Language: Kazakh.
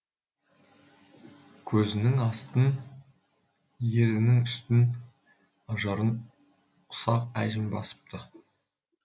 көзінің астын ернінің үстін ажарын ұсақ әжім басыпты